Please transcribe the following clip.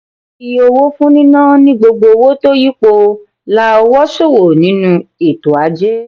iye owó fún níná ni gbogbo owó tó yípo lá'ọwọ ṣowo nínú ètò ajé.